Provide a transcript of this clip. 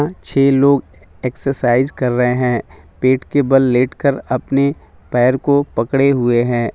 छह लोग एक्सोसाइज कर रहे हैं पेट बाल लेट कर अपने पैर को पकड़े हुए हैं।